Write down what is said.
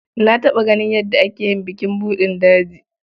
Na taɓa ganin yadda ake yin bukin buɗin daji.